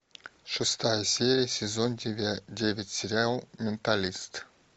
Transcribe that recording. шестая серия сезон девять сериал менталист